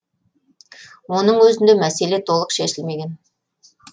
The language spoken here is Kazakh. оның өзінде мәселе толық шешілмеген